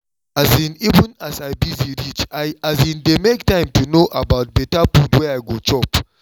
um even as i busy reach i um dey make time to know about better food wey i go chop